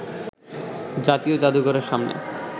জাতীয় জাদুঘরের সামনে